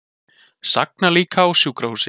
Sagna líka á sjúkrahúsi